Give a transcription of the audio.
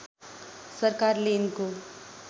सरकारले यिनको